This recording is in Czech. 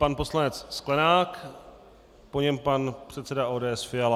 Pan poslanec Sklenák, po něm pan předseda ODS Fiala.